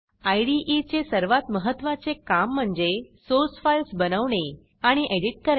इदे चे सर्वात महत्त्वाचे काम म्हणजे सोर्स फाईल्स बनवणे आणि एडिट करणे